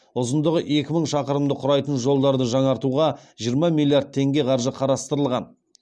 ұзындығы екі мың шақырымды құрайтын жолдарды жаңартуға жиырма миллиард теңге қаржы қарастырылған